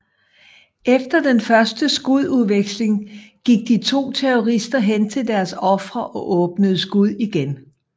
Efter den første skudveksling gik de to terrorister hen til deres ofre og åbnede skud igen